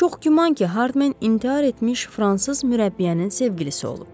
Çox güman ki, Hardmen intihar etmiş fransız mürəbbiyənin sevgilisi olub.